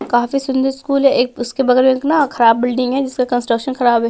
काफी सुंदर स्कूल है एक उसके बगल में एक न खराब बिल्डिंग है जिसका कंस्ट्रक्शन खराब है।